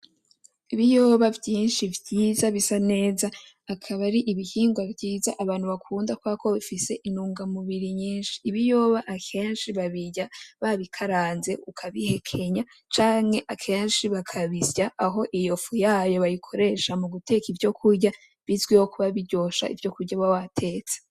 Ibiyoba vyinshi vyiza bisa neza. Akaba ari ibihingwa vyiza abantu bakunda kubera ko bifise intungamubiri nyinshi. Ibiyoba akenshi babirya babikaranze ukabihekenya canke akenshi bakabisya, aho iyo fu yayo bayikoresha mu guteka ivyokurya, bizwiho kuba biryoshe arivyo kuba wabitetse.